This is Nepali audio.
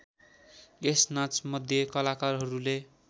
यस नाचमध्ये कलाकारहरूले